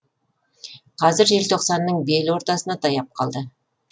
қазір желтоқсанның бел ортасына таяп қалды